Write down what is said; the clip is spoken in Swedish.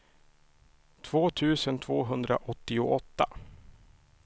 två tusen tvåhundraåttioåtta